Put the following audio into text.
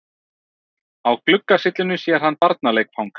Á gluggasyllunni sér hann barnaleikfang.